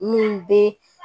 Minnu bɛ